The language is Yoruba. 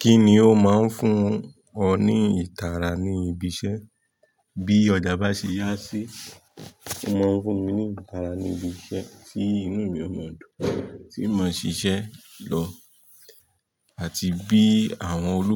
Kíni ó máa ń fún ọ ní ìtara ní ibi iṣẹ́? Bí ọjà bá ṣe yá sí, ó máa ń fún mi ní ìtara ní ibi iṣẹ́ tí inú mi ó mọ́ dùn, tí mo ṣiṣẹ́ lọ. Àti bí àwọn olú